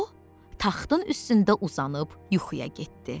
O taxtın üstündə uzanıb yuxuya getdi.